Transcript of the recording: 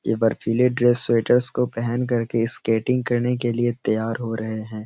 ऐ बर्फीले dress sweater को पहेन कर के स्केटिंग करने के लिए तैयार हो रहे हैं।